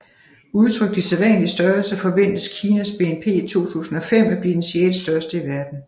Udtrykt i sædvanlige størrelser forventes Kinas BNP i 2005 at blive den sjettestørste i verden